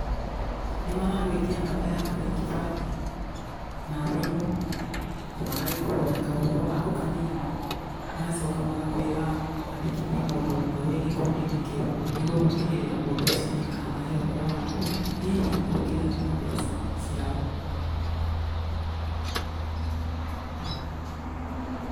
Nĩ maragũĩtia namba yaku ya gĩbandĩ, na thimũ na magagĩkũhoya kaũhoro gaku kanini, magacoka magakũĩra wandĩkithie mũndũ ũmwe wĩ gĩkundi-inĩ kĩu, nĩguo gũtigĩrĩra mũndũ ũcio nĩ akamahe ũhoro waku hihi ũngĩrega na mbeca ciao.